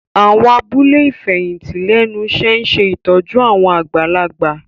Àwọn abúlé ìfẹ̀yìntì lẹ́nu iṣẹ́ ń ṣe ìtọ́jú àwọn àgbàlagbà